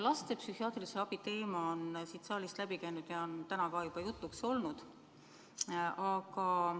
Laste psühhiaatrilise abi teema on siit saalist läbi käinud ja on tänagi juba jutuks olnud.